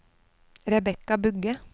Rebecca Bugge